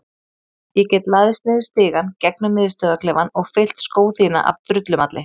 Ég get læðst niður stigann gegnum miðstöðvarklefann og fyllt skó þína af drullumalli.